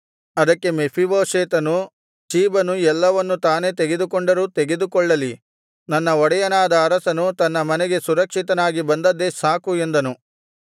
ಅದಕ್ಕೆ ಮೆಫೀಬೋಶೆತನು ಚೀಬನು ಎಲ್ಲವನ್ನು ತಾನೆ ತೆಗೆದುಕೊಂಡರೂ ತೆಗೆದುಕೊಳ್ಳಲಿ ನನ್ನ ಒಡೆಯನಾದ ಅರಸನು ತನ್ನ ಮನೆಗೆ ಸುರಕ್ಷಿತನಾಗಿ ಬಂದದ್ದೇ ಸಾಕು ಎಂದನು